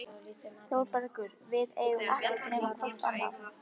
ÞÓRBERGUR: Við eigum ekkert nema hvort annað.